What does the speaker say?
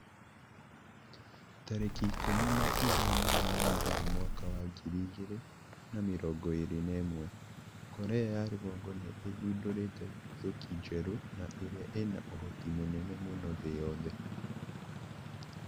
Tarĩki ikũmi na ithano wa Mugaa mwaka wa ngiri igĩrĩ na mĩrongo ĩrĩ na ĩmwe, Korea ya rũgongo nĩ ĩthundũrĩte nduthũki njerũ na ĩria ina ũhoti mũnene mũno thĩ yothe